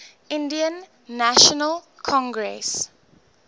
indian national congress